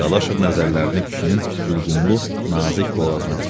Dadaşov nəzərlərini kişinin hülqumlu nazik boğazına dikdi.